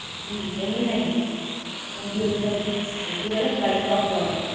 কি এমনি Maggi নাকি ওই সব, কি বলে white sauce ওয়ালা?